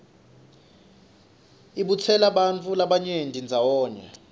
ibutsela bantfu labanyeni ndzawonye